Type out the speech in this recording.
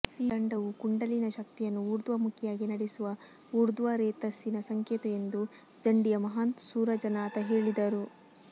ಈ ದಂಡವು ಕುಂಡಲಿನಿ ಶಕ್ತಿಯನ್ನು ಊರ್ಧ್ವಮುಖಿಯಾಗಿ ನಡೆಸುವ ಊರ್ಧ್ವರೇತಸ್ಸಿನ ಸಂಕೇತ ಎಂದು ಝಂಡಿಯ ಮಹಂತ ಸೂರಜನಾಥ ಹೇಳಿದರು